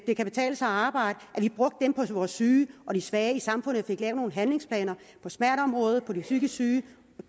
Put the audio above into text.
det kan betale sig at arbejde på vores syge og svage i samfundet lave nogle handlingsplaner på smerteområdet for de psykisk syge de